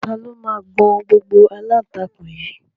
Ta ló máa gbọn gbogbo aláǹtakùn yìí?